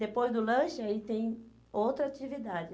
Depois do lanche, aí tem outra atividade.